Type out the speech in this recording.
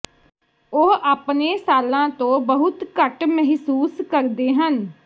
ਉਹ ਆਪਣੇ ਸਾਲਾਂ ਤੋਂ ਬਹੁਤ ਘੱਟ ਮਹਿਸੂਸ ਕਰਦੇ ਹਨ